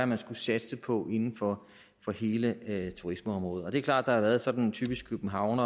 man skulle satse på inden for hele turismeområdet det er klart at der har været sådan et typisk københavn